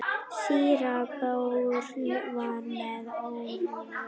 Síra Björn var með óráði.